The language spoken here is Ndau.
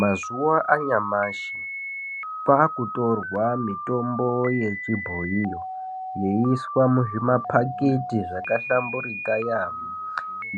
Mazuva anyamashi kwakutorwa mitombo yechibhoyiyo yeiswa muzvimaphakiti zvakahlamburika